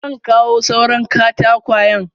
Zan kawo suran katakwayen.